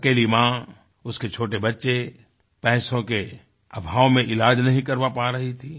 अकेली माँ उसके छोटे बच्चे पैसों के अभाव में इलाज नहीं करवा पा रही थी